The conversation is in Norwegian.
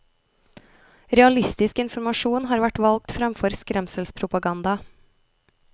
Realistisk informasjon har vært valgt fremfor skremselspropaganda.